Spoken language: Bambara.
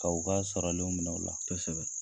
Ka u ka sɔrɔlenw minɛ u la. Kosɛbɛ.